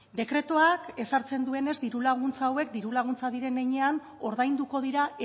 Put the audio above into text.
dekretuak ezartzen duenez diru laguntza hauek diru laguntza diren heinean ordainduko dira